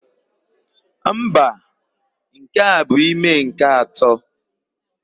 Mba, nke a bụ ime nke atọ.